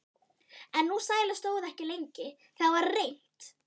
En sú sæla stóð ekki lengi: Það varð reimt.